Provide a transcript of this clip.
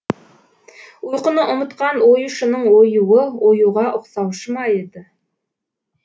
ұйқыны ұмытқан оюшының оюы оюға ұқсаушы ма еді